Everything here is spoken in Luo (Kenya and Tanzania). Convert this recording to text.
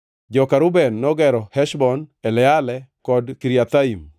Joka Reuben nogero Heshbon, Eleale kod Kiriathaim,